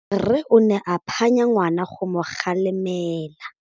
Rre o ne a phanya ngwana go mo galemela.